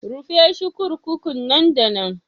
Rufe shi 'kurkukun nan da nan.